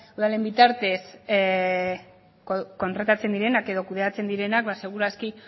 udalen bitartez kontratatzen direnak edo kudeatzen direnak ba seguru aski